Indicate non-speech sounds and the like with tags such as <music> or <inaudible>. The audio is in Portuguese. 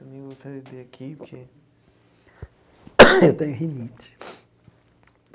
Também vou beber aqui, porque... <coughs> Eu tenho rinite.